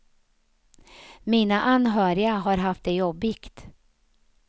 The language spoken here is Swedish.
Mina anhöriga har haft det jobbigt.